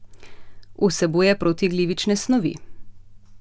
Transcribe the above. Vsebuje protiglivične snovi.